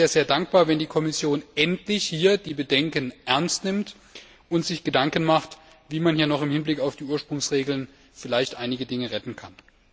Aber ich wäre sehr dankbar, wenn die Kommission endlich unsere Bedenken ernst nehmen und sich Gedanken machen würde, wie man im Hinblick auf die Ursprungsregeln vielleicht noch einige Dinge retten kann.